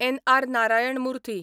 N. R. Narayana Murthy